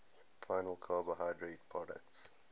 final carbohydrate products